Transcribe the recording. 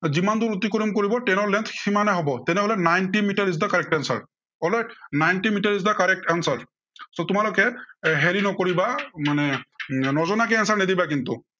যিমান দূৰ অতিক্ৰম কৰিব train ৰ length সিমানেই হব। তেনেহলে ninety metre is the correct answer, alright ninety metre is the correct answer. so তোমালোকে হেৰি নকৰিবা মানে এৰ নজনাকে answer নিদিবা কিন্তু।